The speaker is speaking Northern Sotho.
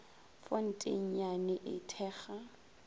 fonte ye nnyane e thekga